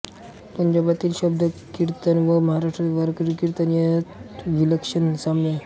पंजाबातील शबदकीर्तन व महाराष्ट्रातील वारकरी कीर्तन यांत विलक्षण साम्य आहे